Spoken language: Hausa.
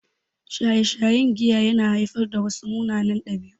Shaye-shayen giya ya na haifar da wasu munanan ɗabi'u